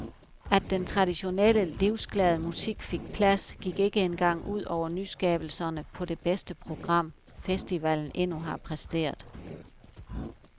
At den traditionelle, livsglade musik fik plads, gik ikke engang ud over nyskabelserne på det bedste program, festivalen endnu har præsteret.